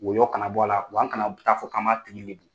Wɔyɔ kana bɔ la' wa a kana ta fɔ kama tigi lebu.